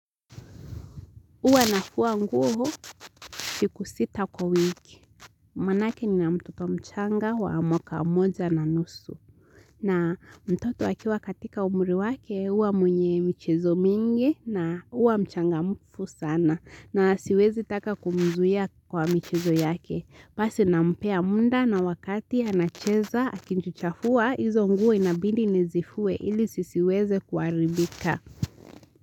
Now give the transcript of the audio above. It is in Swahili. Huwa nafua nguo siku sita kwa wiki. Maaake ni na mtoto mchanga wa mwaka moja na nusu. Na mtoto akiwa katika umri wake uwa mwenye michezo mingi na uwa mchanga mfu sana. Na siwezi taka kumzuia kwa michezo yake. Pasi nampea muda na wakati anacheza akijichuchafua hizo nguo inabidi nizifue ili sisiweze kuaribika.